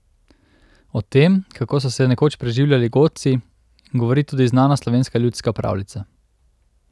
O tem, kako so se nekoč preživljali godci, govori tudi znana slovenska ljudska pravljica.